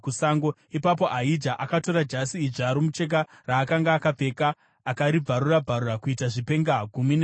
ipapo Ahija akatora jasi idzva romucheka raakanga akapfeka akaribvarura-bvarura kuita zvipenga gumi nezviviri.